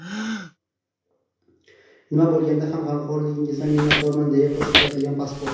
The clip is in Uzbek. Nima bo‘lganda ham, g‘amxo‘rligingizdan minnatdorman”, deya qo‘shimcha qilgan Peskov.